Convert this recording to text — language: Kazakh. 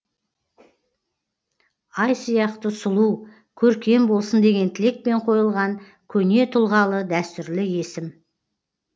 ай сияқты сұлу көркем болсын деген тілекпен қойылған көне тұлғалы дәстүрлі есім